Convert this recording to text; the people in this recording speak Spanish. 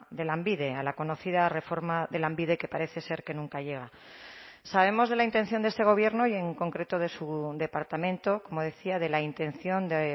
de lanbide a la conocida reforma de lanbide que parece ser que nunca llega sabemos de la intención de este gobierno y en concreto de su departamento como decía de la intención de